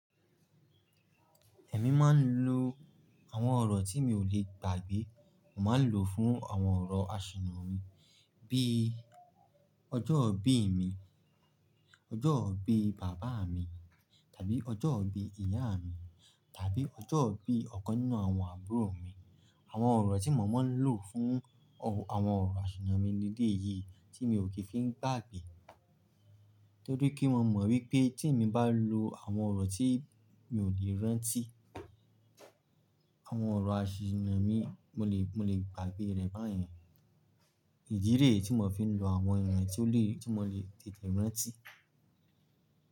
Èmi máa ń lo àwọn ọ̀rọ̀ tí mi ò lè gbàgbé, n máa ń lòó fún àwọn ọ̀rọ̀ aṣìnà mi bí i ọjọ́ ìbí mi, ọjọ́ ìbí bàbá mi tàbí ọjọ́ ìbí ìyá mi tàbí ọjọ́ ìbí ọ̀kan nínú àwọn àbúrò mi. Àwọn ọ̀rọ̀ tí mo máa ń lò fún àwọn ọ̀rọ̀ àṣìnà mi leléyìí tí mi ò kì í fi ń gbàgbé. Nítorí kí mo mọ̀ wípé tí èmi bá lo àwọn ọ̀rọ̀ tí mi ò lè rántí, àwọn ọ̀rọ̀ àṣìnà mi mo lè, mo lè gbàgbé rẹ̀ báyẹn. Ìdí rèé tí mò ń fi ń lo àwọn ìràn tí ó lè, tí mo lè tètè rántí.